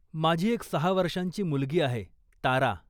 माझी एक सहा वर्षांची मुलगी आहे, तारा.